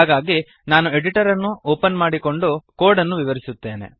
ಹಾಗಾಗಿ ನಾನು ಎಡಿಟರ್ ಅನ್ನು ಒಪನ್ ಮಾಡಿ ಕೋಡ್ ಅನ್ನು ವಿವರಿಸುತ್ತೇನೆ